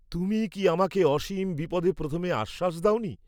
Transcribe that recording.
তুমিই কি আমাকে অসীম বিপদে প্রথমে আশ্বাস দাও নি?